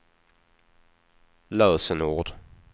lösenord